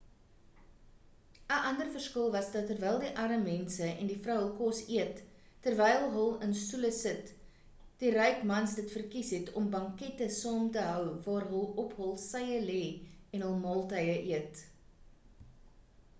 ‘n ander verskil was dat terwyl die arm mense en die vrou hul kos eet terwyl hul in stoele sit, die ryk mans dit verkies het om bankette saam te hou waar hul op hul sye lê en hul maaltye eet